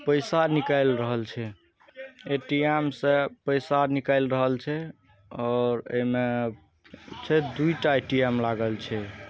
पैसा निकल रहल छे ए.टी.एम. से पैसा निकल रहल छे और इमे दुईठा ए.टी.एम लागल छे।